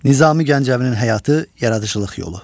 Nizami Gəncəvinin həyatı, yaradıcılıq yolu.